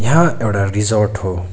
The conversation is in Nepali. यहाँ एउटा रिसोर्ट हो।